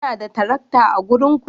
Kuna da tarakta a garinku?